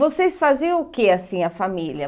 Vocês faziam o que assim, a família?